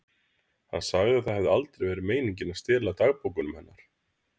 Hann sagði að það hefði aldrei verið meiningin að stela dagbókunum hennar.